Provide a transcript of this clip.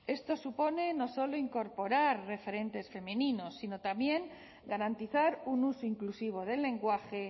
esto supone no solo incorporar referentes femeninos sino también garantizar un uso inclusivo del lenguaje